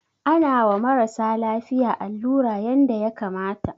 Ana wa marasa lafiya allura yanda ya kamata.